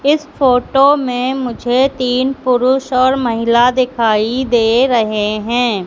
इस फोटो में मुझे तीन पुरुष और महिला दिखाई दे रहे हैं।